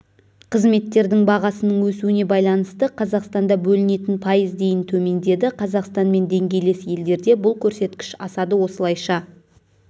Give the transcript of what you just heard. қызметтердің бағасының өсуіне байланысты қазақстанда бөлінетін пайыз дейін төмендеді қазақстанмен деңгейлес елдерде бұл көрсеткіш асады осылайша